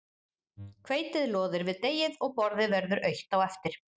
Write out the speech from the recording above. Hveitið loðir við deigið og borðið verður autt á eftir.